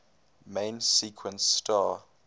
main sequence star